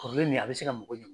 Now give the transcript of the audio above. Kɔrɔlen nin a bɛ se ka mago ɲɛ